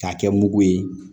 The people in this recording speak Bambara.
K'a kɛ mugu ye